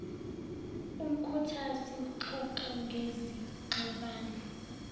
umkhuthazi ngxoxo ngezingxabano